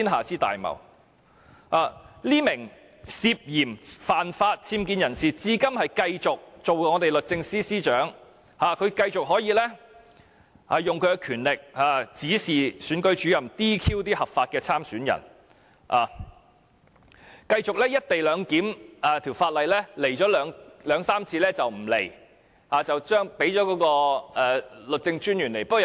這名涉嫌犯法僭建人士，至今仍然繼續擔任我們的律政司司長，繼續運用她的權力，指示選舉主任 "DQ" 合法的參選人；而就"一地兩檢"相關法例的會議，她又只出席了兩三次便不再來，轉派律政專員出席。